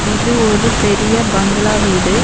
இது ஒரு பெரிய பங்களா வீடு.